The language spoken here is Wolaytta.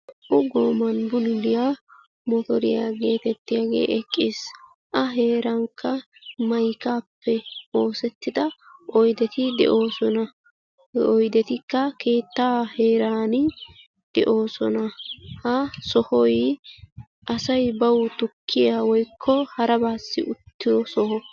Naa"u gooman bululiya motoriya giyooge eqqis. A heerankka maykaappe oosettida oydeti de7oosona. He oydetikka keettaa heeraani de"oosona ha sohoy asay bawu tukkiya woykko harabaassi uttiyo soho.